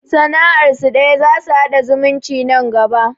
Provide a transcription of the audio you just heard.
Sana'ar su ɗaya, za su haɗa zumunci nan gaba